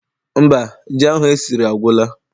Mba, ji ahụ esiri agwụla.